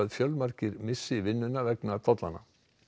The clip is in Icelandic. fjölmargir missi vinnuna vegna tollanna